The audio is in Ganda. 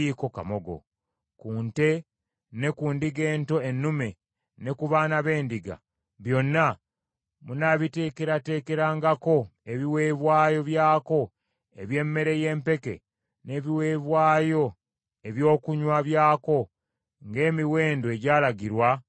Ku nte ne ku ndiga ento ennume, ne ku baana b’endiga, byonna munaabiteekerateekerangako ebiweebwayo byako eby’emmere y’empeke n’ebiweebwayo ebyokunywa byako ng’emiwendo egyalagirwa bwe giri.